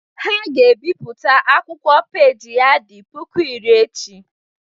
Ha ga-ebipụta akwụkwọ peji ya dị puku iri echi